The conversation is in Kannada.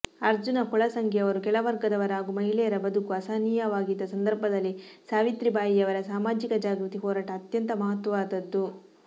ಅರ್ಜುನ ಗೊಳಸಂಗಿಯವರು ಕೆಳವರ್ಗದವರ ಹಾಗೂ ಮಹಿಳೆಯರ ಬದುಕು ಅಸಹನೀಯವಾಗಿದ್ದ ಸಂದರ್ಭದಲ್ಲಿ ಸಾವಿತ್ರಿಬಾಯಿಯವರ ಸಾಮಾಜಿಕ ಜಾಗೃತಿ ಹೋರಾಟ ಅತ್ಯಂತ ಮಹತ್ವವಾದದ್ದು